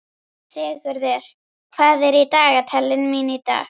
Sigurður, hvað er í dagatalinu mínu í dag?